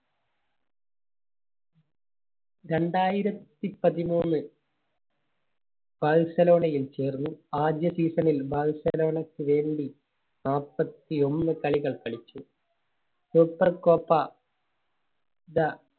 രണ്ടായിരത്തി പതിമൂന്ന് ബാഴ്സലോണയിൽ ചേർന്നു. ആദ്യ Season ൽ ബാഴ്സലോണയ്ക്ക് വേണ്ടി നാൽപത്തിയൊന്ന് കളികൾ കളിച്ചു. Super Copa